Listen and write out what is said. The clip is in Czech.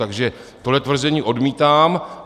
Takže tohle tvrzení odmítám.